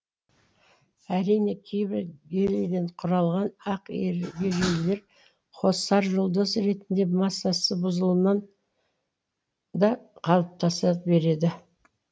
әрине кейбір гелийден құралған ақ ергежейлілер қосаржұлдыз ретінде массасы бұзылуынан да қалыптаса береді